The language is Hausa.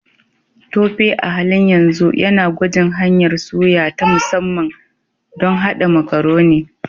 Tope a halin yanzu yana gwajin hanyar suya ta musamman don haɗa Macaroni.